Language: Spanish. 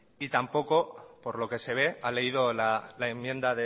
y tampoco por lo que se ve ha leído la enmienda